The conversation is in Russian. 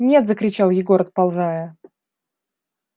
нет закричал егор отползая